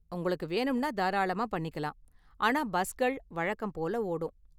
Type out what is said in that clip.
உங்களுக்கு வேணும்னா, தாராளமா பண்ணிக்கலாம், ஆனால் பஸ்கள் வழக்கம் போல ஓடும்.